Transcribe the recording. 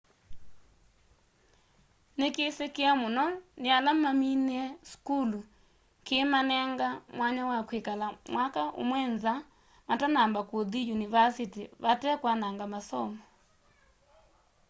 nikisikie mũno ni ala maminie sukulu kiimanenga mwanya wa kwikala mwaka ũmwe nza matanamba kuthi yunivasiti vate kwananga masomo